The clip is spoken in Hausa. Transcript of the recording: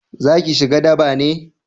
za ki shiga daba ne?